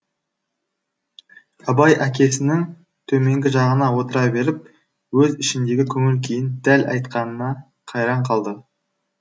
абай әкесінің төменгі жағына отыра беріп өз ішіндегі көңіл күйін дәл айтқанына қайран қалды